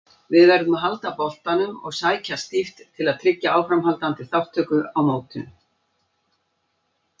Við verðum að halda boltanum og sækja stíft til að tryggja áframhaldandi þátttöku í mótinu.